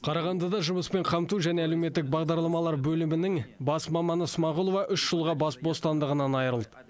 қарағандыда жұмыспен қамту және әлеуметтік бағдарламалар бөлімінің бас маманы смағұлова үш жылға бас бостандығынан айырылды